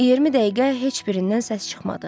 20 dəqiqə heç birindən səs çıxmadı.